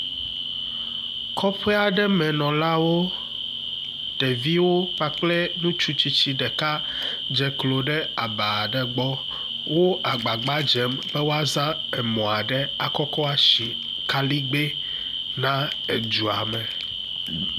Kɔƒe aɖe menɔlawo. Ɖeviwo kpakple ŋutsu tsitsi ɖeka dze klo ɖe aba aɖe gbɔ. Wo agbagbadzem be woaza emɔ aɖe akɔkɔ asi kaɖigbɛ na edua me.